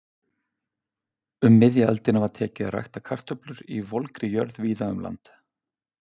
Um miðja öldina var tekið að rækta kartöflur í volgri jörð víða um land.